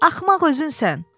Axmaq özünsən.